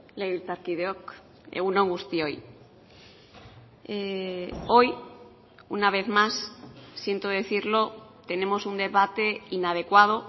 legebiltzarkideok egun on guztioi hoy una vez más siento decirlo tenemos un debate inadecuado